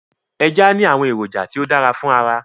Eja ni awọn eroja ti o dara fun ara